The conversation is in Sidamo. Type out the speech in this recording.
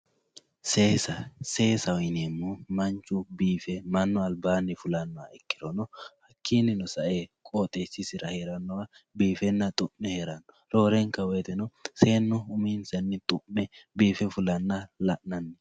Seessa, seessaho yineemohu manchu biife manu alibanni fullanoha ikkirono hakinino sa'e qooxxeessisira heeranoha biifenna xu'me heerano, roore'nka woyiteno seenu uminsanni biifenna xu'me fulanna la'nanni